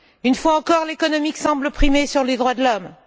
Une fois encore, l'économique semble primer les droits de l'homme.